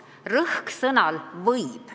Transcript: Rõhk on sõnal "võib".